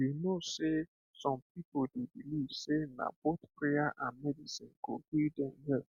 you know sey some people dey believe sey na both prayer and medicine go heal dem well